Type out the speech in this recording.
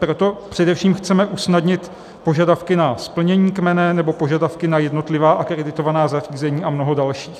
Proto především chceme usnadnit požadavky na splnění kmene nebo požadavky na jednotlivá akreditovaná zařízení a mnoho dalších.